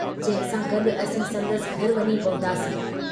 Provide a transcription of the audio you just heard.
जंहिं सां गड्डु असीं संदसि घर वञी पहुतासीं।